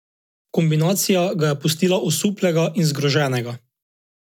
Kombinacija ga je pustila osuplega in zgroženega.